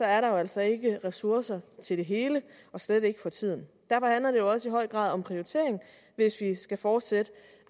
er der jo altså ikke ressourcer til det hele og slet ikke for tiden derfor handler det også i høj grad om prioritering hvis vi skal fortsætte